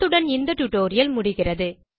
இத்துடன் இந்த டியூட்டோரியல் முடிகிறது